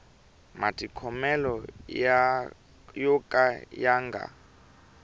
matikhomelo yo ka ya nga